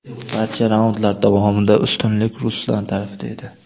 Barcha raundlar davomida ustunlik Ruslan tarafida edi.